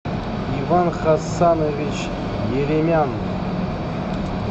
иван хасанович еремян